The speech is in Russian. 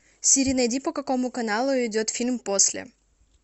сири найди по какому каналу идет фильм после